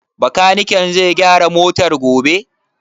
Bakaniken zai gyara motar gobe?